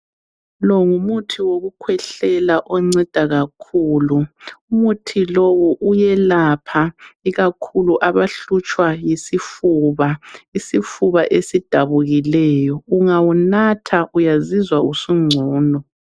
Lo ngumuthi wokukhwehlela onceda kakhulu . Umuthi lowu uyelapha ikakhulu abahlutshwa yisifuba, isifuba esidabukileyo . Ungawunatha uyazizwa usungcono.